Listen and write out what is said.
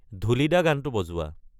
ঢোলিদা গানটো বজোৱা